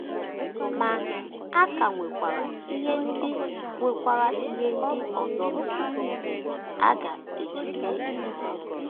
Ma, a ka nwekwara ihe ndị nwekwara ihe ndị ọzọ mere a ga - eji mee otú ahụ.